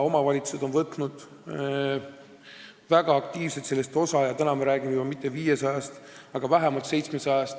Omavalitsused on sellest väga aktiivselt osa võtnud ja me räägime juba mitte 500-st, aga vähemalt 700-st majapidamisest.